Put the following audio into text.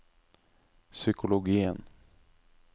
psykologien